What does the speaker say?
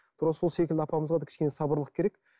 секілді апамызға да сабырлық керек